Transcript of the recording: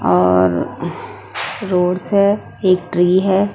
और रोज है एक ट्री है।